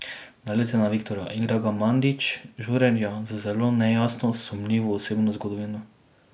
Naleti na Viktorja, igra ga Mandić, žurerja z zelo nejasno, sumljivo osebno zgodovino.